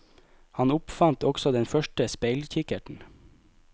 Han oppfant også den første speilkikkerten.